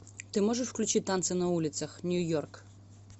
ты можешь включить танцы на улицах нью йорк